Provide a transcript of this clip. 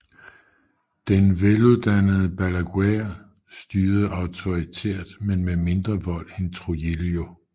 Den veluddannede Balaguer styrede auktoritært men med mindre vold end Trujillo